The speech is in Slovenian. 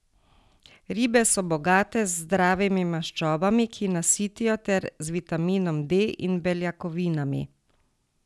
Ribe so bogate z zdravimi maščobami, ki nasitijo, ter z vitaminom D in beljakovinami.